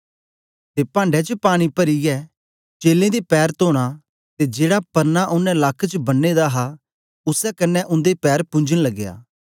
ते पांढे च पानी परियै चेलें दे पैर तोना ते जेड़ा प्रना ओनें लक्क च बन्ने दा हा उसै कन्ने उन्दे पैर पुंजन लगया